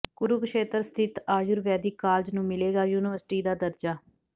ਕੁਰੂਕਸ਼ੇਤਰ ਸਥਿਤ ਆਯੁਰਵੈਦਿਕ ਕਾਲਜ ਨੂੰ ਮਿਲੇਗਾ ਯੂਨੀਵਰਸਿਟੀ ਦਾ ਦਰਜਾ